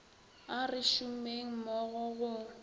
a re šomeng mmogo go